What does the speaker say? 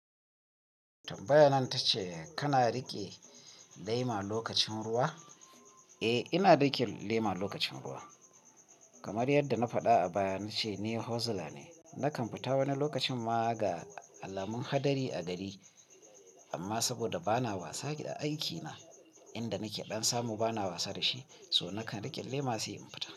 Tambayan ta ce kana riƙe lema lokacin ruwa? Eh, ina riƙe lema lokacin ruwa. Kamar yadda na faɗa a baya na ce ni hozla ne. Nakan fita wani lokacin ma ga alamun hadari a gari. Amma saboda bana wasa a aikina, inda nake ɗan samu bana wasa da shi, so nakan riƙe lema sai in fita.